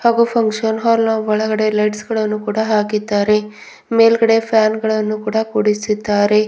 ಹಾಗು function hall ನಾ ಒಳಗಡೆ ಲೈಟ್ಸ್ ಗಳನ್ನು ಕೂಡ ಹಾಕಿದ್ದಾರೆ ಮೇಲ್ಗಡೆ ಫ್ಯಾನ್ ಗಳನ್ನು ಕೂಡ ಕುಡಿಸಿದ್ದಾರೆ.